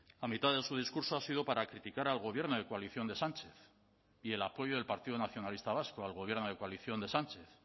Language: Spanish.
la mitad de su discurso ha sido para criticar al gobierno de coalición de sánchez y el apoyo del partido nacionalista vasco al gobierno de coalición de sánchez